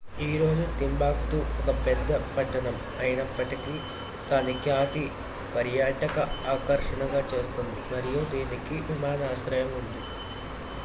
ఈ రోజు టింబక్టు ఒక పేద పట్టణం అయినప్పటికీ దాని ఖ్యాతి పర్యాటక ఆకర్షణగా చేస్తుంది మరియు దీనికి విమానాశ్రయం ఉంది